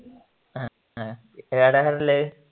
ഹ ഹ